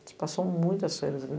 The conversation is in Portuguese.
A gente passou muitas férias ali.